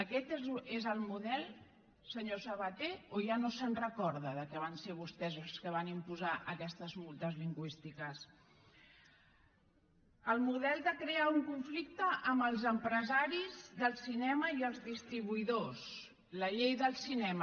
aquest és el model senyor sabaté o ja no se’n recorda que van ser vostès els que van imposar aquestes multes lingüístiques el model de crear un conflicte amb els empresaris del cinema i els distribuïdors la llei del cinema